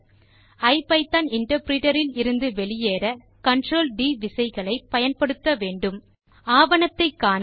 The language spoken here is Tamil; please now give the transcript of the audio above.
ஐபிதான் இன்டர்பிரிட்டர் இலிருந்து வெளியேற Ctrl ட் விசைகளை பயன்படுத்த வேண்டும் ஆவணத்தை காண160